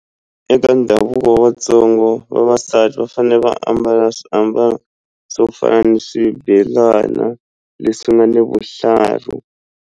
Eka ndhavuko wa Vatsongo vavasati va fanele va ambala swiambalo swo fana ni swibelana leswi nga ni vuhlalu.